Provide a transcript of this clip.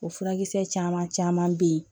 O furakisɛ caman caman be yen